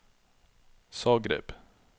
Zagreb